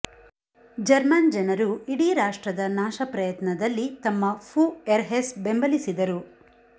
German ಜನರು ಇಡೀ ರಾಷ್ಟ್ರದ ನಾಶ ಪ್ರಯತ್ನದಲ್ಲಿ ತಮ್ಮ ಫುಎಹ್ರೆರ್ಸ್ ಬೆಂಬಲಿಸಿದರು